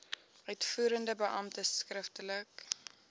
uitvoerende beampte skriftelik